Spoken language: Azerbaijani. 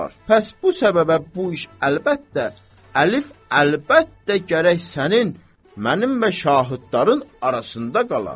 Pəs bu səbəbə bu iş əlbəttə, əlif əlbəttə gərək sənin, mənim və şahidlərin arasında qala.